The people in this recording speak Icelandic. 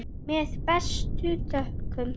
Með bestu þökkum.